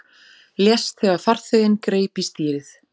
Lést þegar farþeginn greip í stýrið